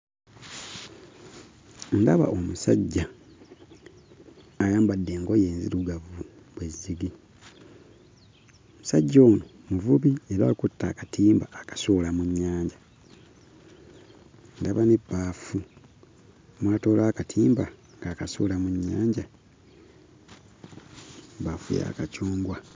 Ndaba omusajja ayambadde engoye enzirugavu bwe zzigi. Omusajja ono muvubi era akutte akatimba akasuula mu nnyanja. Ndaba n'ebbaafu mw'atoola akatimba ng'akasuula mu nnyanja. Ebbaafu ya kacungwa.